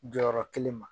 Jɔyɔrɔ kelen ma